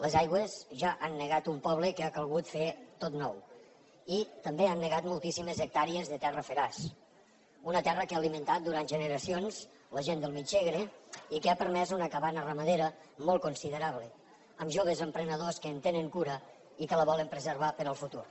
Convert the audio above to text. les aigües ja han negat un poble que ha calgut fer tot nou i també han negat moltíssimes hectàrees de terra feraç una terra que ha alimentat durant generacions la gent del mig segre i que ha permès una cabana ramadera molt considerable amb joves emprenedors que en tenen cura i que la volen preservar per al futur